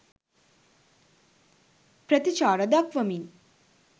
ප්‍රතිචාර දක්වමින්